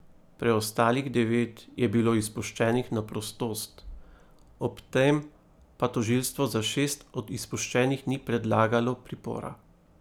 Preostalih devet je bilo izpuščenih na prostost, ob tem pa tožilstvo za šest od izpuščenih ni predlagalo pripora.